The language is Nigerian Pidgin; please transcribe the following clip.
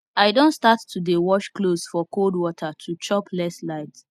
i don start to dey wash clothes for cold water to chop less light